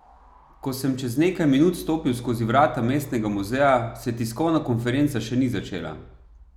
Ko sem čez nekaj minut stopil skozi vrata Mestnega muzeja, se tiskovna konferenca še ni začela.